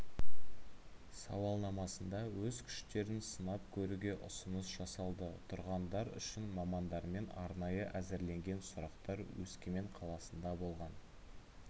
сауалнамасында өз күштерін сынап көруге ұсыныс жасалды тұрғындар үшін мамандармен арнайы әзірленген сұрақтар өскемен қаласында болған